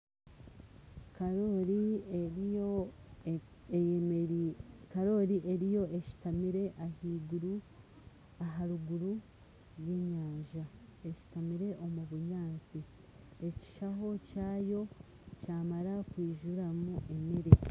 Karoori eriyo eshutamire aharuguru rw'enyanja eshuutamire omu bunyaatsi ekishaaho kyayo kyamara kwizuramu emeere